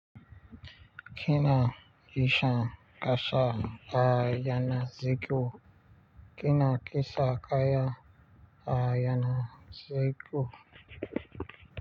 Kina kisha kasha a yana ziko. Kina kisha kaya a yana ziko.